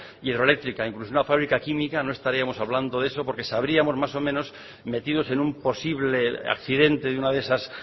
hidroeléctrica incluso una fábrica química no estaríamos hablando de eso porque sabríamos más o menos metidos en un posible accidente de una de esas